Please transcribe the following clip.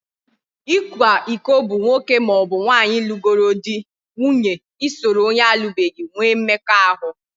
Ikwa iko bụ nwoke maọbụ nwaanyị lụgoro di/nwunye isoro onye alubeghi nwee mmekọahụ